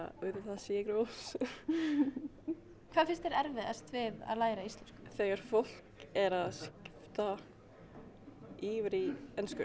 auðvitað sigur Rós hvað finnst þér erfiðast við að læra íslensku þegar fólk er að skipta yfir í ensku